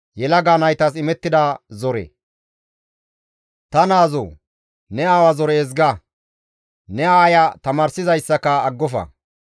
Ta naazoo! Ne aawa zore ezga; ne aaya tamaarsizayssaka aggofa.